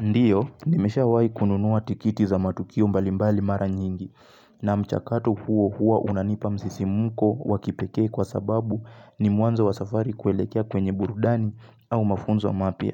Ndio, nimeshawai kununuwa tikiti za matukio mbalimbali mara nyingi, na mchakatu huo hua unanipa msisimko wakipekee kwa sababu ni mwanzo wa safari kuelekea kwenye burudani au mafunzo mapia.